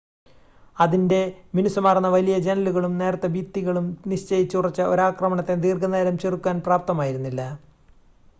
അതിൻ്റെ മിനുസമാർന്ന വലിയ ജനലുകളും നേർത്ത ഭിത്തികളും നിശ്ചയിച്ചുറച്ച ഒരാക്രമണത്തെ ദീർഘനേരം ചെറുക്കാൻ പ്രാപ്തമായിരുന്നില്ല